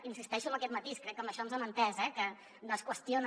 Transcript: insisteixo en aquest matís crec que en això ens hem entès que no es qüestiona